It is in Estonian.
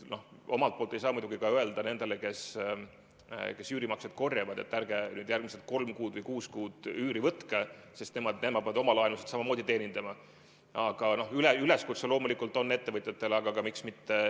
Aitäh, lugupeetud istungi juhataja!